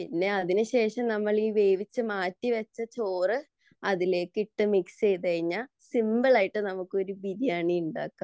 പിന്നെ അതിനു ശേഷം നമ്മൾ വേവിച്ചു മാറ്റിവച്ച ചോറ് അതിലേക്ക് ഇട്ടു മിക്സ് ചെയ്തു കഴിഞ്ഞാൽ സിമ്പിൾ ആയിട്ട് നമുക്ക് ഒരു ബിരിയാണി ഉണ്ടാക്കാം